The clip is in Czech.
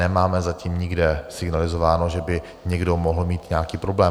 Nemáme zatím nikde signalizováno, že by někdo mohl mít nějaký problém.